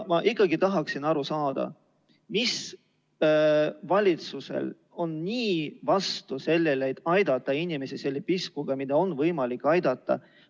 Ma ikkagi tahaksin aru saada, mis on valitsusel nii selle vastu, et aidata inimesi selle piskuga, millega on võimalik aidata.